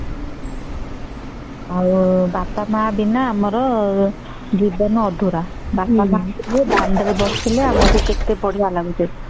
ବାପା ମା ବିନା ଆମ ଜୀବନ ଅଧୁରା ବାପା ମା ସହ ଦଣ୍ଡ ରେ ବସିଲେ ଆମକୁ କେତେ ବଢିୟା ଲାଗୁଛେ ହୁଁ